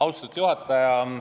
Austatud juhataja!